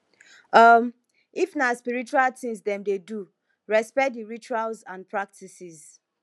um if na spiritual things dem de do respect di rituals and practices